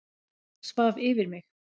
Svaf yfir mig